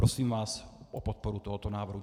Prosím vás o podporu tohoto návrhu.